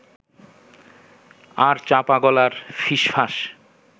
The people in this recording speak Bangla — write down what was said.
আর চাপা গলার ফিসফাস